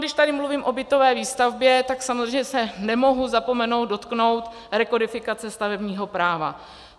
Když tady mluvím o bytové výstavbě, tak samozřejmě se nemohu zapomenout dotknout rekodifikace stavebního práva.